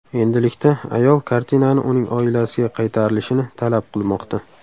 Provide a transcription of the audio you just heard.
Endilikda ayol kartinani uning oilasiga qaytarilishini talab qilmoqda.